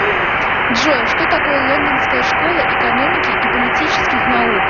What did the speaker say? джой что такое лондонская школа экономики и политических наук